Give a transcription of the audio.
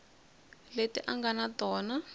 leti a nga na tona